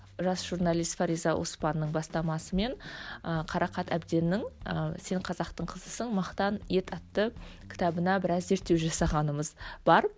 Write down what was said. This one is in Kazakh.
жас журналист фариза оспанның бастамасымен ы қарақат әбденнің ыыы сен қазақтың қызысың мақтан ет атты кітабына біраз зерттеу жасағанымыз бар